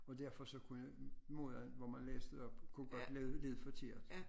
Og derfor så kunne jeg måden hvor man læste op kunne godt lyde forkert